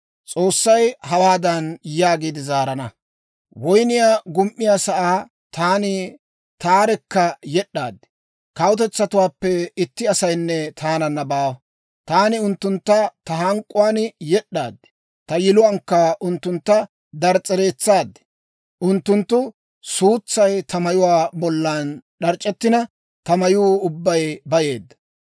S'oossay hawaadan yaagiide zaarana; «Woynniyaa gum"iyaasaa taani taarekka yed'd'aad; kawutetsatuwaappe itti asaynne taananna baawa. Taani unttuntta ta hank'k'uwaan yed'd'aad; ta yiluwaankka unttuntta dirs's'eretsaad. Unttunttu suutsay ta mayuwaa bollan d'ac'ettina, ta mayuu ubbay bayeedda.